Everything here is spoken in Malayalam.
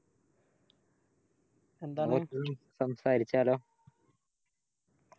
സംസാരിച്ചാലോ